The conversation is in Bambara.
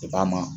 a ma